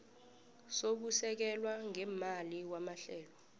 sokusekelwa ngeemali kwamahlelo